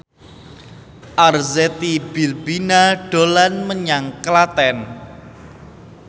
Arzetti Bilbina dolan menyang Klaten